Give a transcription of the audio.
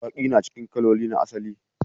Baki na cikin kalolin asali.